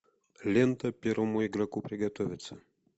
лента первому игроку приготовиться